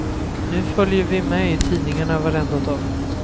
Nu följer vi med i tidningarna varenda dag.